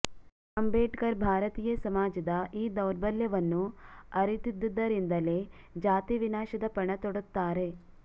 ಅಂಬೇಡ್ಕರ್ ಭಾರತೀಯ ಸಮಾಜದ ಈ ದೌರ್ಬಲ್ಯವನ್ನು ಅರಿತಿದ್ದುದರಿಂದಲೇ ಜಾತಿವಿನಾಶದ ಪಣ ತೊಡುತ್ತಾರೆ